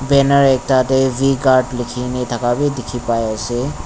banner ekta de v guard liki na daka b diki pai ase.